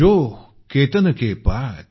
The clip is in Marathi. जो केतन के पात